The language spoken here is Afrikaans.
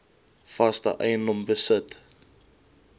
vaste eiendom besit